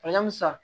san